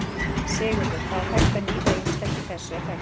Sigurður: Það er hægt að nýta ýmislegt í þessu, er það ekki?